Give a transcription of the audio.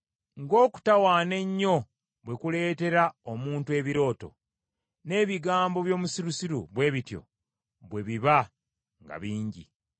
Ng’okutawaana ennyo bwe kuleetera omuntu ebirooto, n’ebigambo by’omusirusiru bwe bityo bwe biba nga bingi.